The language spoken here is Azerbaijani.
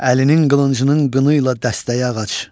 Əlinin qılıncının qını ilə dəstəyi ağac.